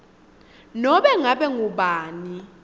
nobe ngabe ngubani